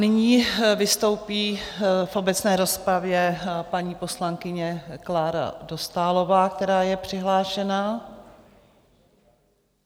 Nyní vystoupí v obecné rozpravě paní poslankyně Klára Dostálová, která je přihlášená.